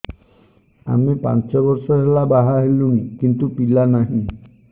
ଆମେ ପାଞ୍ଚ ବର୍ଷ ହେଲା ବାହା ହେଲୁଣି କିନ୍ତୁ ପିଲା ନାହିଁ